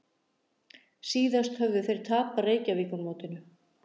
Síðast höfðu þeir tapað Reykjavíkurmótinu